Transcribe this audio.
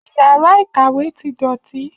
Iyàrá ìkàwé ti dòtí